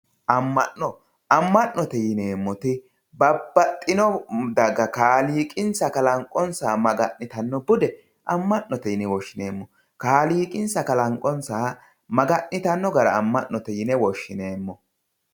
amma'no amma'note yineemmoti babbaxxino daga kaaliiqqinssa kalanqonsaha maga'nitanno bude amma'note yine woshshineemmo kaaliiqqinsa kalanqonsaha maga'nitanno gara amma'note yine woshshineemmo